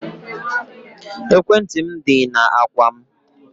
Ekwentị m dị na ákwà m